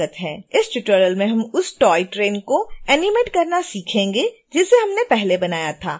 इस ट्यूटोरियल में हम उस टॉय ट्रेन को एनीमेट करना सीखेंगे जिसे हमने पहले बनाया था